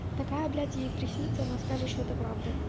такая блять ей приснится она скажет что это правда